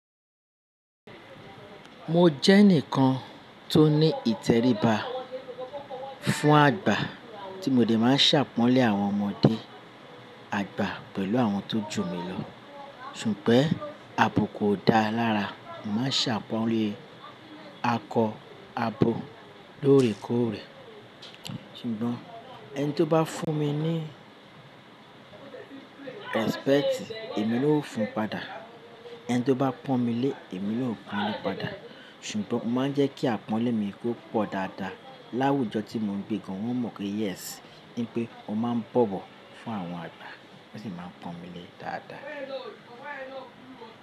Mo jẹ́ ẹnìkan tó ní ìtẹríba fún àgbà tí mo dè máa ṣàpọ́nlé àwọn ọmọdé àgbà pẹ̀lú àwọn tó jù mi lọ. Ṣùgbọ́n abuku o dáa lára. Mo máa ń ṣàpọ́nlé akọ, abo, lóòrèkóòrè. Ṣùgbọ́n ẹni tí ó bá fún mi ní respect èmi na ó fún un padà. Ẹni tí ó bá pọ́n mi lé, èmi na ó pọ́n le padà. Ṣùgbọ́n mo máa ń jẹ́ kí àpọ́nlé mi kó pọ̀ dáadáa. Láwùjọ tí mo ń gbé gan wọ́n mọ̀ pé yes ní pé ó máa ń bọ̀bọ̀ fún àwọn àgbà. Wọ́n sì máa ń pọ́n mi lé dáadáa.